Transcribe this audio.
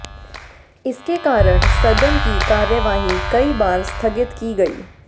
इसके कारण सदन की कार्यवाही कई बार स्थगित की गई